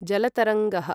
जलतरङ्गः